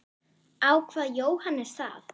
Ákvað Jóhannes það?